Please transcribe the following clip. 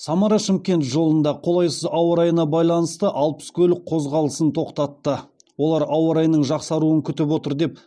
самара шымкент жолында қолайсыз ауа райына байланысты алпыс көлік қозғалысын тоқтатты олар ауа райының жақсаруын күтіп отыр деп